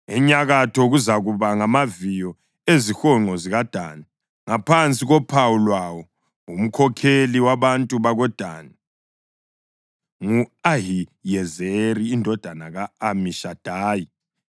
Enyakatho kuzakuba ngamaviyo ezihonqo zikaDani, ngaphansi kophawu lwawo. Umkhokheli wabantu bakoDani ngu-Ahiyezeri indodana ka-Amishadayi.